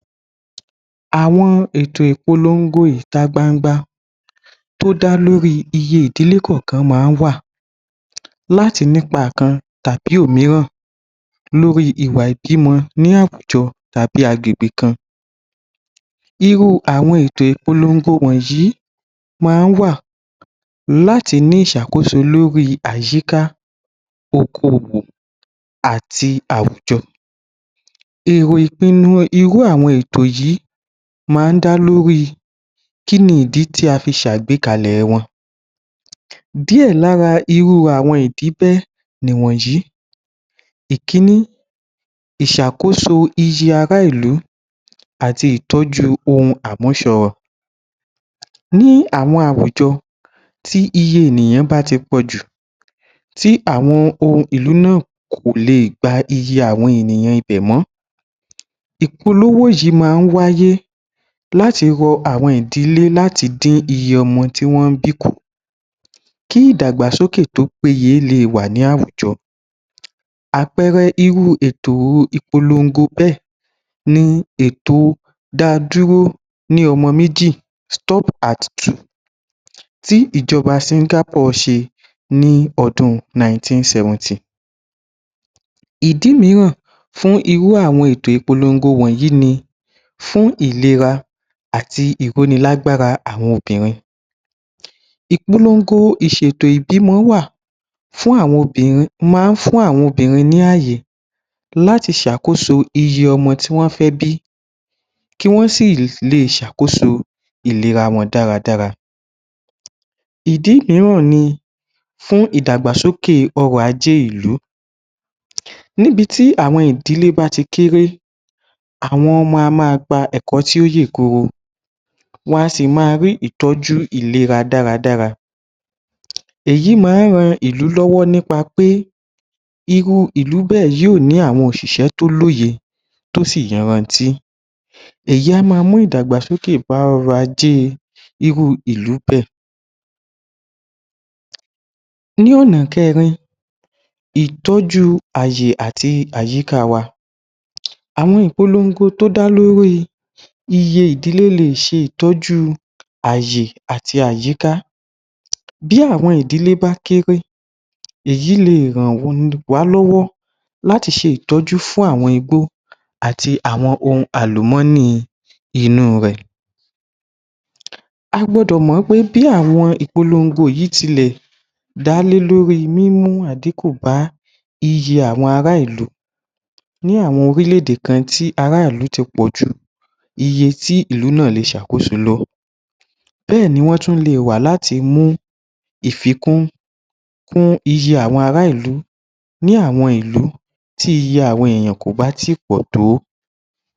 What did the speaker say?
Àwọn ètò ìpolongo ìta gbangba tó dá lórí iye ìdílé kọ̀ọ̀kan máa ń wà láti nípa kan tàbí òmíràn lórí ìwà ìbímọ ní àwùjọ tàbí agbègbè kan. Irú àwọn ètò ìpolongo wọ̀nyí máa ń wà láti ní ìṣàkóso lórí àyíká, okoòwò àti àwùjọ. Èrò ìpinnu irú àwọn ètò yìí máa ń dá lórí kí ni ìdí tí a fi ṣe àgbékalẹ̀ wọn? Díẹ̀ lára irú àwọn ìdí bẹ́ẹ̀ nìwọ̀nyí: ìkíní, ìṣàkóso iye ará ìlú àti ìtọ́jú ohun àmúṣọrọ̀. Ní àwọn àwùjo ̣tí iye ènìyàn bá ti pọ̀ jù tí àwọn ohun ìlú náà kò lè gba iye àwọn ènìyàn ibẹ̀ mọ́, ìpolówó yìí máa ń wáyé láti rọ àwọn ìdílé láti dín iye ọmọ tí wọ́n ń bí kù, kí ìdàgbàsókè tó péye lè wà ní àwùjọ. Àpẹẹrẹ irú ètò ìpolongo bẹ́ẹ̀ ni ètò ‘‘Dáadúró ní ọmọ méji’̀’ (Stop at Two) tí ìjọba Singapore ṣe ní ọdún 1970. Ìdí mìíràn fún irú àwọn ètò ìpolongo wọ̀nyí ni fún ìlera àti ìróni-lágbára àwọn obìnrin. Ìpolongo ìṣètò ìbímọ wà fún àwọn obìnrin máa ń fún àwọn obìnrin ní ààyè láti ṣàkóso iye ọmọ tí wọ́n fẹ́ bí kí wọ́n sì [l…] lè ṣàkóso ìlera wọn dáradára. Ìdí mìíràn ni fún ìdàgbàsókè ọrọ̀-ajé ìlú. Níbi tí àwọn ìdílé bá ti kéré, àwọn ọmọ á máa gba ẹ̀kọ́ tí ó yè koro, wọ́n a sì máa rí ìtọ́jú ìlera dáradára. Èyí máa ń ran ìlú lọ́wọ́ nípa pé irú ìlú bẹ́ẹ̀ yóò ní àwọn òṣìṣẹ́ tó lóye tó sì yanrantí. Èyí á máa mú ìdàgbàsókè bá ọrọ̀-ajé [ir…] irú ìlú bẹ́ẹ̀. Ní ọ̀nà kẹrin, ìtọ́jú ààyè àti àyíká wa. Àwọn ìpolongo tó dá lórí iye ìdílé lè ṣe ìtọ́jú ààyè àti àyíká. Bí àwọn ìdílé bá kéré, èyí lè [r…] ràn wá lọ́wọ́ láti ṣe ìtọ́jú fún àwọn igbó àti àwọn ohun àlùmọ́ọ́nì inú rẹ̀. A gbọdọ̀ mọ̀ pé bí àwọn ìpolongo yìí tilẹ̀ dálé lórí mímú àdínkù bá iye àwọn ará ìlú ní àwọn orílẹ̀-èdè kan tí ará ìlú náà ti pọ̀ ju iye tí ìlú náà lè ṣàkóso lọ, bẹ́ẹ̀ ni wọ́n tún lè wà láti mú ìfikún kún iye àwọn ará ìlú ní àwọn ìlú tí iye àwọn èèyàn kò bá tí ì pọ̀ tó.